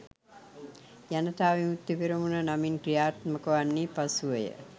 ජනතා විමුක්ති පෙරමුණ නමින් ක්‍රියාත්මක වන්නේ පසුවය.